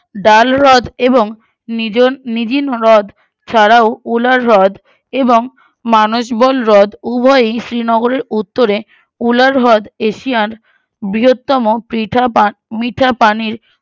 ডাল হ্রদ এবং নিজন নিজিন হ্রদ ছাড়াও উলার হ্রদ এবং মানজবল হ্রদ উভয়েই শ্রীনগরের উত্তরে উলার হ্রদ এশিয়ান বৃহত্তম পৃথাপা মিঠাপানির